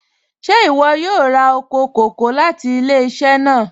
Ṣẹ̀ iwọ yóò rá oko kòkò̀ láti ilẹ̀-iṣẹ̀ náà?